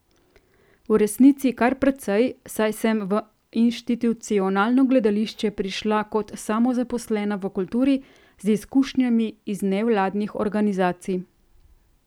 V resnici kar precej, saj sem v inštitucionalno gledališče prišla kot samozaposlena v kulturi, z izkušnjami iz nevladnih organizacij.